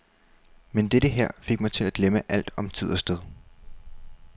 Men dette her fik mig til at glemme alt om tid og sted.